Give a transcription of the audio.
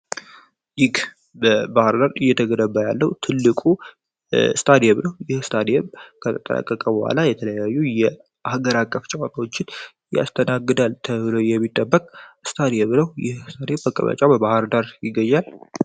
ይግ በባህር ዳር እየተገረባ ያለው ትልቁ ስታዲየ ብረሁ ይህ ስታድየብ ከተጠረቀቀ በኋላ የተለያዩ የአሀገራ አቀፍ ጨዋታውችን ያስተናገዳል ተብሎ የሚጠበቅ ስታድየ ብረው ይህ ስታድየብ አቅርባያጫው በባህር ዳር ይገያል፡፡